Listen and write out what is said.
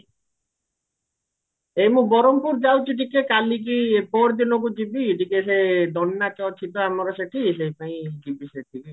ଏଇ ମୁଁ ବରହମପୁର ଯାଉଚି ଟିକେ କାଲୀ କି ପହରଦିନକୁ ଯିବି ଟିକେ ସେ ଦଣ୍ଡ ନାଚ ଅଛି ତ ଆମର ସେଠି ସେଇଥିପାଇଁ ଯିବି ସେଠିକି